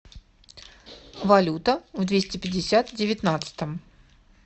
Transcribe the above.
валюта в двести пятьдесят девятнадцатом